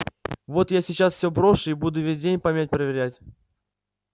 вот я сейчас всё брошу и буду весь день память проверять